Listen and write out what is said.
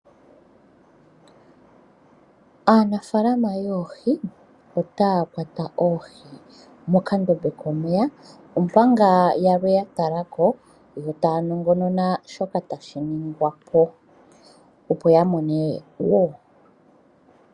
Aanafaalama yoohi otaa kwata oohi mokandombe komeya, omanga yalwe ya tala ko yo taa nongonona shoka tashi ningwa po, opo ya mone wo.